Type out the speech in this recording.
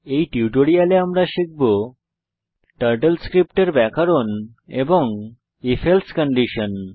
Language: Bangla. এই টিউটোরিয়ালে আমরা শিখব টার্টল স্ক্রিপ্ট এর ব্যাকরণ এবং if এলসে কন্ডিশন